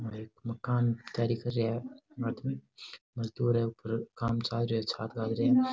और एक मकान तैयारी कर रहा है मजदूर है ऊपर काम चाल रो है है।